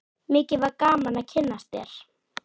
Mikið var gaman að kynnast þér.